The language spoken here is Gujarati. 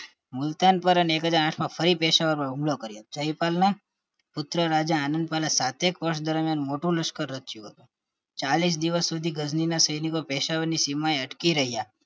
મૂલતના એક હાજર માં ફરી પેશાવર પર હુમલો કર્યો જયપાલ ના પુત્ર રાજા આનદપાલ સાથે પક્ષ દ્વારા મોટું લશ્કર રચ્યું ચાલીસ દિવસ સુધી ગજની ના સૈનિકો પેશાવર સીમા અટકી રહ્યા